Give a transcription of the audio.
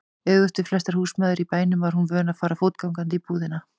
Öfugt við flestar húsmæður í bænum var hún vön að fara fótgangandi í búðina.